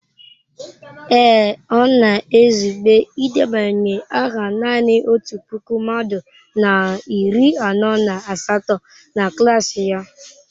Ee, ọ na-ezube idebanye aha nanị otu puku mmadụ na iri anọ na asatọ na klas ya.